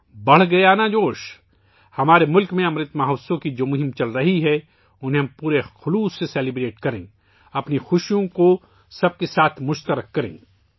بڑھ گیا نا جوش! ہمارے ملک میں امرت مہوتسو کی ، جو مہم چل رہی ہے ، اس کا ہم پوری دل جمعی سے جشن منائیں ، اپنی خوشیوں کو سب کے ساتھ ساجھا کریں